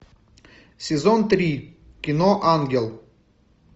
сезон три кино ангел